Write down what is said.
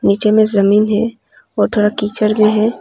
नीचे में जमीन है और थोड़ा कीचड़ में है।